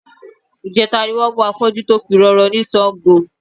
Ìjẹta ni wọ́n mú afọ́jú tó pirọrọ ní Sango